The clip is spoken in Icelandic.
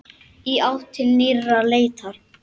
Í átt til nýrrar leitar.